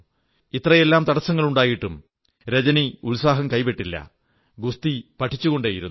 ഇത്രയെല്ലാം തടസ്സങ്ങളുണ്ടായിട്ടും രജനി ഉത്സാഹം കൈവിട്ടില്ല ഗുസ്തി പഠിച്ചുകൊേണ്ടയിരുന്നു